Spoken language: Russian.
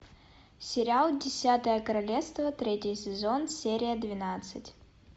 сериал десятое королевство третий сезон серия двенадцать